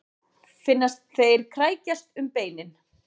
Finnast þeir krækjast um beinin.